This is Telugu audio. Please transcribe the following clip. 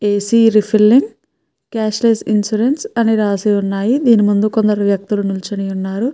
ఏసి రిఫరెన్స్ గ్యాసెస్ ఇన్సూరెన్స్ అని రాసి ఉన్నాయి. దీని ముందు కొందరు వ్యక్తులు నించొని ఉన్నారు.